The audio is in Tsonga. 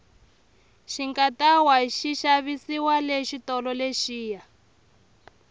xikatawa xi xavisiwa le xitolo lexiya